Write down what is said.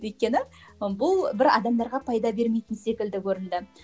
өйткені бұл бір адамдарға пайда бермейтін секілді көрінді